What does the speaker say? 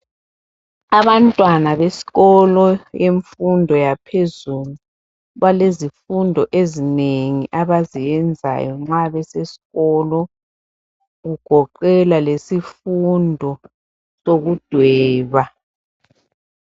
Abantwana besikolo semfundo yaphezulu balezifundo ezinengi abazenzayo nxa besesikolo kugoqela lesifundo sokudweba.